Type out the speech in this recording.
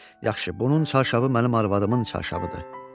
Yaxşı, bunun çarşafı mənim arvadımın çarşafıdır.